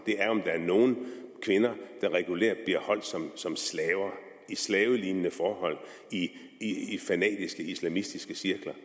det er om der er nogle kvinder der regulært bliver holdt som som slaver under slavelignende forhold i i fanatiske islamistiske cirkler